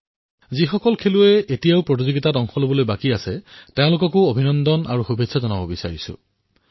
যিসকলৰ খেল এতিয়াও বাকী আছে তেওঁলোকলৈও শুভকামনা জনাইছোঁ